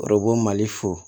Ɔrɔbu mali fo